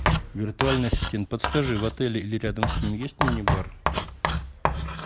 виртуальный ассистент подскажи в отеле или рядом с ним есть мини бар